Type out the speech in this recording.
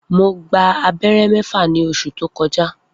Mo gba abẹ́rẹ́ mẹ́fà ní oṣù tó kọjá